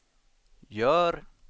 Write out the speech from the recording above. gör